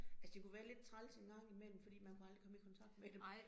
Altså det kunne være lidt træls en gang imellem fordi man kunne aldrig komme i kontakt med dem